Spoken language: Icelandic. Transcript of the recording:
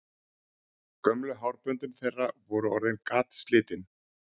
Gömlu hárböndin þeirra voru orðin gatslitin.